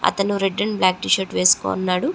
అతను red and black T shirt వేసుకొని ఉన్నాడు.